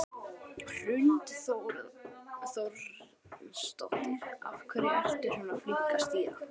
Hrund Þórsdóttir: Af hverju ertu svona flink að stýra?